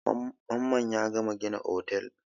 Mamman ya gama gina otel.